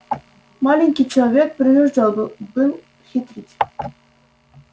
маленький человек принуждён был хитрить